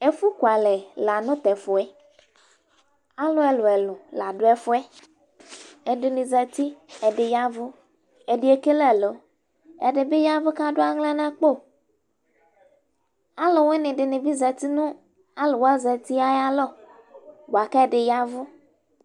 Ɛfʋkualɛ la nʋ tʋ ɛfʋ yɛ Alʋ ɛlʋ-ɛlʋ la dʋ ɛfʋ yɛ Ɛdɩnɩ zati, ɛdɩnɩ ya ɛvʋ Ɛdɩ ekele ɛlɔ Ɛdɩ bɩ ya ɛvʋ kʋ adʋ aɣla nʋ akpo Alʋwɩnɩ dɩ bɩ zati nʋ alʋ wa zati yɛ ayalɔ bʋa kʋ ɛdɩ ya ɛvʋ